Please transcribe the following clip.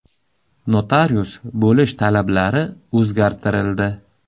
Notarius bo‘lish talablari o‘zgartirildi.